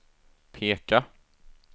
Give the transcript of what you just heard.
peka